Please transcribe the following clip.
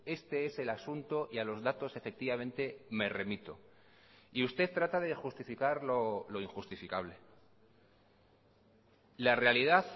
este es el asunto y a los datos efectivamente me remito y usted trata de justificar lo injustificable la realidad